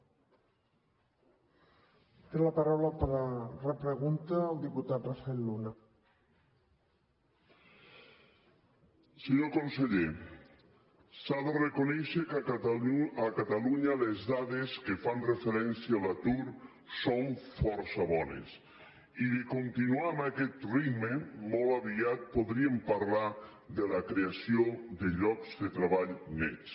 senyor conseller s’ha de reconèixer que a catalunya les dades que fan referència a l’atur són força bones i si es continua amb aquest ritme molt aviat podríem parlar de la creació de llocs de treball nets